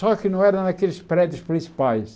Só que não era naqueles prédios principais.